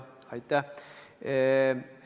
Aitäh!